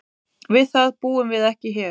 Við það búum við ekki hér.